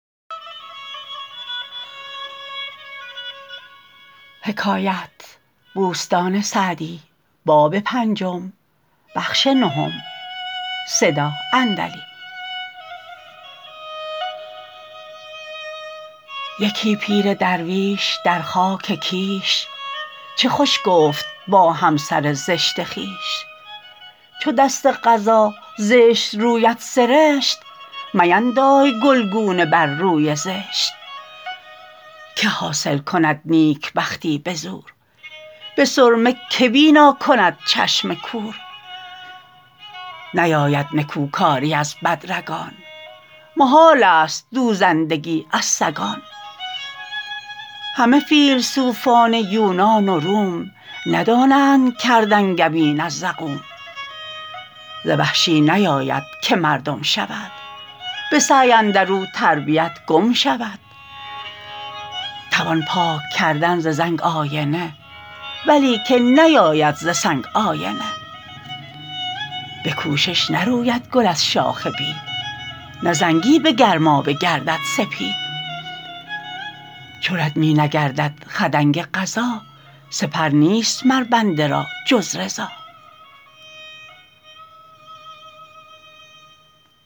یکی پیر درویش در خاک کیش چه خوش گفت با همسر زشت خویش چو دست قضا زشت رویت سرشت میندای گلگونه بر روی زشت که حاصل کند نیکبختی به زور به سرمه که بینا کند چشم کور نیاید نکوکاری از بد رگان محال است دوزندگی از سگان همه فیلسوفان یونان و روم ندانند کرد انگبین از زقوم ز وحشی نیاید که مردم شود به سعی اندر او تربیت گم شود توان پاک ‎کردن ز زنگ آینه ولیکن نیاید ز سنگ آینه به کوشش نروید گل از شاخ بید نه زنگی به گرمابه گردد سپید چو رد می نگردد خدنگ قضا سپر نیست مر بنده را جز رضا